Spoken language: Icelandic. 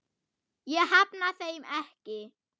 Ég hafna þeim ekki.